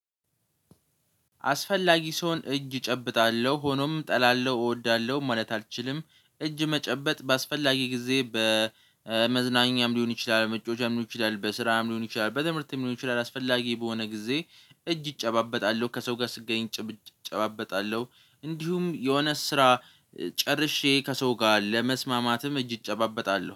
አስፈላጊ ስሆን እጅ እጨብጣለሁ ሆኖም እጠላለሁ እወዳለሁ ማለት አልችልም። እጅ መጨበጥ በአስፈላጊ ጊዜ በመዝናኛም ሊሆን ይችላል መጫወቻም ሊሆን ይችላል በስራም ሊሆን ይችላል በትምህርትም ሊሆን ይችላል። አስፈላጊ በሆነ ጊዜ እጅ እጨባበጣለሁ ከሰው ጋር ስገኝ እጨባበጣለሁ። እንዲሁም የሆነ ስራ ጨርሼ ከሰው ጋር ለመስማማትም እጅ እጨባበጣለሁ